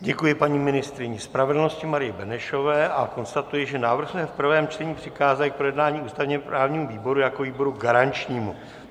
Děkuji paní ministryni spravedlnosti Marii Benešové a konstatuji, že návrh jsme v prvém čtení přikázali k projednání ústavně-právnímu výboru jako výboru garančnímu.